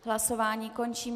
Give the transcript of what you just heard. Hlasování končím.